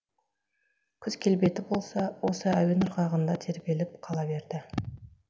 күз келбеті болса осы әуен ырғағында тербеліп қала берді